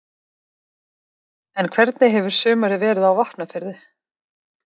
En hvernig hefur sumarið verið á Vopnafirði?